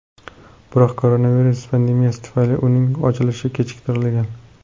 Biroq koronavirus pandemiyasi tufayli uning ochilishi kechiktirilgan.